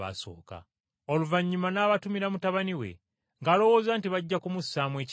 Oluvannyuma n’abatumira mutabani we, ng’alowooza nti, ‘Bajja kumussaamu ekitiibwa.’